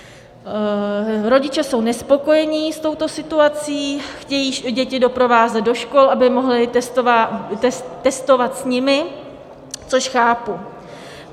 Rodiče jsou nespokojeni s touto situací, chtějí děti doprovázet do škol, aby mohli testovat s nimi, což chápu.